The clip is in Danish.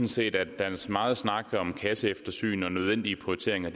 set at dens megen snak om kasseeftersyn og nødvendige prioriteringer